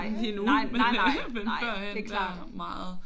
Nej nej nej nej det er klart